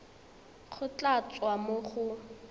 go tla tswa mo go